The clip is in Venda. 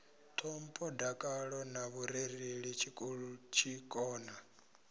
ṱhompho dakalo na vhurereli tshikona